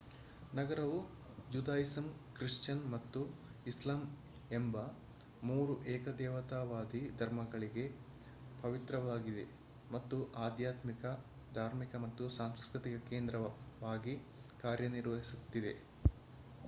ನಗರವು Judaism Christian ಮತ್ತು ಇಸ್ಲಾಂ ಎಂಬ ಮೂರು ಏಕದೇವತಾವಾದಿ ಧರ್ಮಗಳಿಗೆ ಪವಿತ್ರವಾಗಿದೆ ಮತ್ತು ಆಧ್ಯಾತ್ಮಿಕ ಧಾರ್ಮಿಕ ಮತ್ತು ಸಾಂಸ್ಕೃತಿಕ ಕೇಂದ್ರವಾಗಿ ಕಾರ್ಯನಿರ್ವಹಿಸುತ್ತದೆ